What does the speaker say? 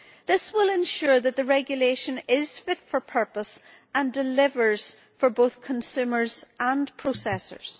This will ensure that the regulation is fit for purpose and delivers for both consumers and processors.